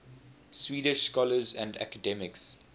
swedish scholars and academics